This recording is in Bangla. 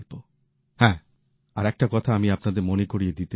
হ্যাঁ আরেকটা কথা আমি আপনাদের মনে করিয়ে দিতে চাই